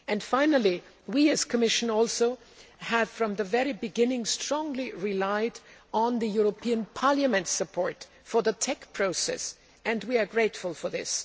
Finally, we as the Commission have also, from the very beginning, strongly relied on the European Parliament's support for the TEC process, and we are grateful for this.